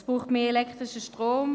es braucht mehr elektrischen Strom;